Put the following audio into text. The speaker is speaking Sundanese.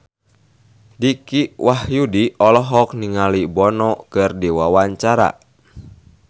Dicky Wahyudi olohok ningali Bono keur diwawancara